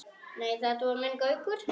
Nei, þetta var minn Gaukur.